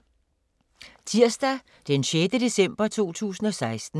Tirsdag d. 6. december 2016